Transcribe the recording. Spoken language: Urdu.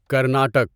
کرناٹک